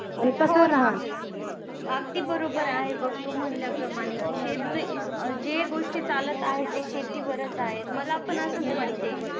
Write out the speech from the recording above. अगदी बरोबर आहे बघ तू म्हणल्याप्रमाणे कि शेत जे गोष्टी चालत आहे जे शेतीवरच आहेत मला पण असंच वाटतंय